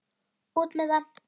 Út með það!